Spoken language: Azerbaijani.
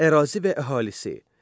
Ərazi və əhalisi.